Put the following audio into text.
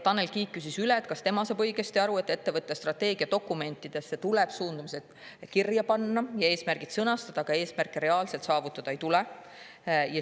Tanel Kiik küsis üle, kas ta saab õigesti aru, et ettevõtte strateegiadokumentidesse tuleb suundumused kirja panna ja eesmärgid sõnastada, aga neid eesmärke reaalselt saavutada ei tule.